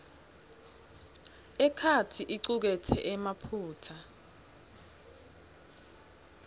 itheksthi icuketse emaphutsa